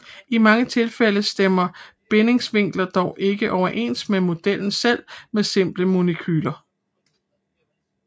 I mange tilfælde stemmer bindingsvinklerne dog ikke overens med modellen selv med simple molekyler